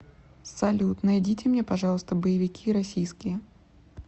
салют найдите мне пожалуйста боевики российские